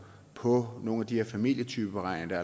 på nogle af de her familietypeberegninger